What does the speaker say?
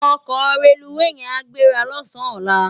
Òkò rélúwé yèn á gbérâ lòsán òlá